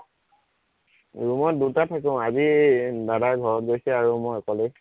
room ত দুটা থাকো, আজি দাদা ঘৰত গৈছে আৰু মই অকলে